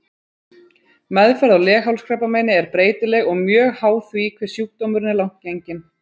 Meðferð á leghálskrabbameini er breytileg og mjög háð því hve sjúkdómurinn er langt genginn.